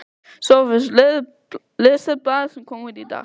SOPHUS: Lesið blaðið sem kom út í dag.